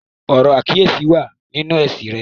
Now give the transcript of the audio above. Ọ̀rọ̀ àkíyèsí wà nínú èsì rẹ̀.